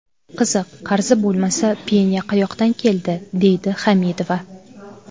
Qiziq, qarzi bo‘lmasa, penya qayoqdan keldi?”, deydi Hamidova.